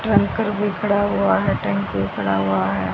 Tanker भी खड़ा हुआ है टेंपो खड़ा हुआ है।